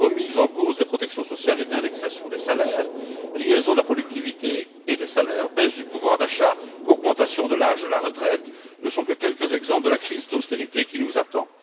Remise en cause des protections sociales et de l'indexation des salaires, liaison de la productivité et des salaires, baisse du pouvoir d'achat, augmentation de l'âge de la retraite ne sont que quelques exemples de la crise d'austérité qui nous attend.